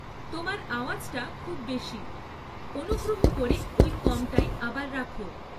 তোমার আওয়াজটা খুব বেশি, অনুগ্রহ করে ওই কমটাই আবার রাখো